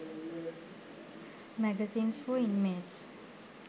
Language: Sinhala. magazines for inmates